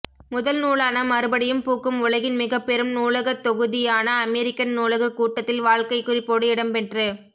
முதல் நூலான மறுபடியும் பூக்கும் உலகின் மிகப் பெரும் நூலகத்தொகுதியான அமெரிக்கன் நூலகக் கூட்டத்தில் வாழ்க்கைக் குறிப்போடு இடம் பெற்று